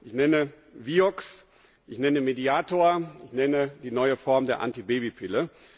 Ich nenne Vioxx, ich nenne Mediator, ich nenne die neue Form der Antibabypille.